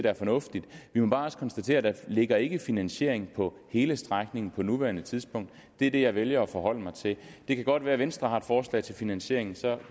er fornuftigt vi må bare også konstatere at der ligger en finansiering for hele strækning på nuværende tidspunkt det er det jeg vælger at forholde mig til det kan godt være at venstre har et forslag til finansiering og så